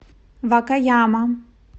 вакаяма